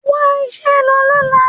Wá iṣẹ́ lọ lọ́la.